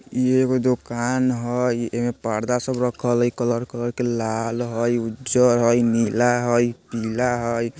इ एगो दोकान हय ऐमे पर्दा सब रख्खल हई कलर कलर के लाल हई उज्जर हई नीला हई पीला हई।